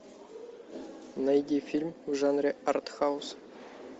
найди фильм в жанре арт хаус